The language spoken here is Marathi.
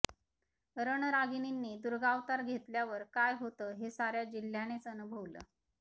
रणरागिणींनी दुर्गावतार घेतल्यावर काय होतं हे साऱ्या जिल्ह्यानेच अनुभवलं